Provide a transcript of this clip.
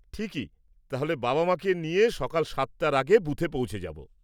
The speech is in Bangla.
ঠিকই। তাহলে বাবা মাকে নিয়ে সকাল সাতটার আগে বুথে পৌঁছে যাব।